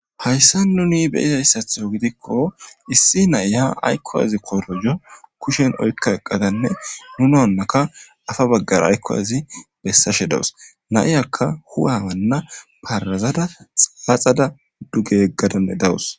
Hayssa nuni beyizayssatho gidikko issi naya aykko azi korojo kushen oykka eqadanne nuna onnaka afa baggara aykko azi bessashe dawus naiyakka huwa banna parazada xaaxada duge yeggadanne dawus.